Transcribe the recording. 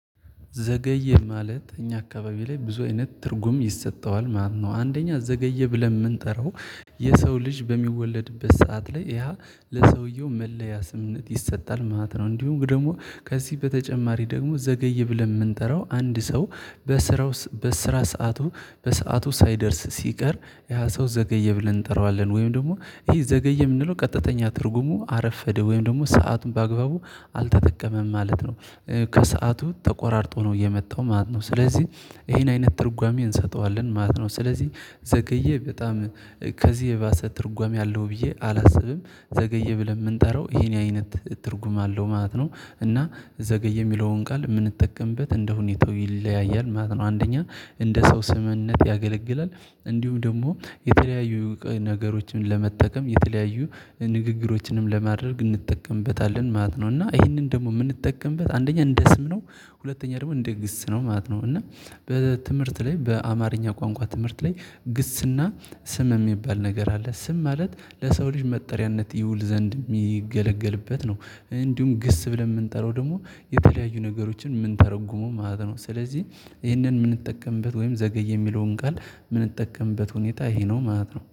ዘገየ ማለት እኛ አካባቢ ላይ ብዙ አይነት ትርጉም ይሰጠዋል ማለት ነው። አንደኛ ዘገየ ብለን የምንጠራው የሰው ልጅ በሚወለድበት ሰዓት ላይ ያ ለሰውየው መለያ ስምነት ይሰጣል ማለት ነው። እንዲሁ ደግሞ ከዚህ በተጨማሪ ደግሞ ዘገይ ብለን የምንጠራው አንድ ሰው በስራው በስራ ሰዓቱ በሰአቱ ሳይደርስ ሲቀር ያ ሰው ዘገየ ብለን እንጠራዋለን። ወይም ደግሞ ይሄ ዘገየ የምንለው ቀጥተኛ ትርጉሙ አረፈደ ወይም ደግሞ ሰአቱን በአግባቡ አልተጠቀመም ማለት ነው። ከሰአቱ ተቆራርጦ ነው የመጣው ማለት ነው ስለዚህ ይሄን አይነት ትርጓሜ እንሰጠዋለን ማለት ነው ስለዚህ ዘገየ በጣም ከዚህ የባሰ ትርጓሜ አለው ብዬ አላስብም። ዘገየ ብለን የምንጠራው ይሄን አይነት ትርጉም አለው ማለት ነው እና ዘገየ የሚለውን ቃል የምንጠቀምበት እንደሁኔታው ይለያያ ማለት ነው። አንደኛ እንደ ሰው ስምነት ያገለግላል እንዲሁም ደግሞ የተለያዩ ነገሮችን ለመጠቀም የተለያዩ ንግግሮችንም ለማድረግ እንጠቀምበታለ ማለት ነው። እና ይሄንን ደግሞ የምንጠቀምበት አንደኛ እንደ ስም ነው ሁለተኛ ደግሞ እንደ ግስ ነው ማለት ነው። እና በትምህርት ላይ በአማርኛ ቋንቋ ትምህርት ላይ ግስና ስም የሚባል ነገር አለ ስም ማለት ለሰው ልጅ መጠሪያነት ይውል ዘንድ የሚገለገልበት ነው። እንዲሁም ግስ ብለን የምንጠራው ደግሞ የተለያዩ ነገሮችን የምንተረጉመው ማለት ነው። ስለዚህ ይሄንን የምንጠቀምበት ወይም ዘገይ የሚለውን ቃል የምንጠቀምበት ሁኔታ ይሄ ነው ማለት ነው።